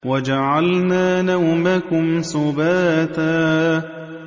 وَجَعَلْنَا نَوْمَكُمْ سُبَاتًا